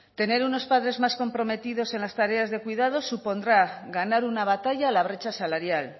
tener unos padres más comprometidos en las tareas de cuidados supondrá ganar una batalla a la brecha salarial